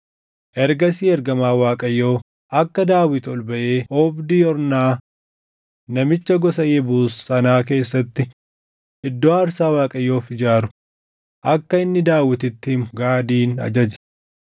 Daawit immoo Waaqaan, “Namni akka loltoonni lakkaaʼaman godhe ana mitii? Namni cubbuu fi balleessaa hojjete anuma. Isaan kunneen garuu hoolotaa dha. Isaan maal godhan? Yaa Waaqayyo Waaqa koo harki kee anaa fi maatii koo irra haa buʼu; garuu akka dhaʼichi kun saba kee irra turu hin godhin” jedhe.